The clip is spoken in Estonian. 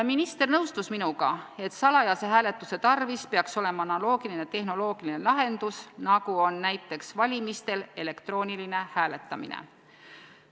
Minister nõustus minuga, et salajase hääletuse tarvis peaks olema analoogiline tehnoloogiline lahendus, nagu on näiteks valimistel elektrooniline hääletamine.